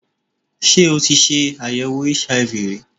Ṣé o tí ṣe àyèwò HIV ri?